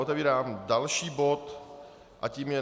Otevírám další bod a tím je